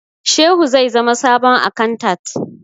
Shehu zai zama sabon akantat